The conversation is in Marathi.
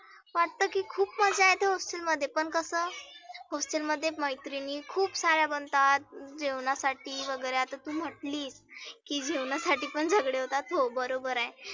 वाटतं की खुप मज्जा येत hostel मध्ये पण कसं hostel मध्ये मैत्रिनी खुप सार्या बनतात. जेवनासाठी वगैरे आता तुम्हटली. की जेवणासाठी पण झगडतात, हो बरोबर आहे.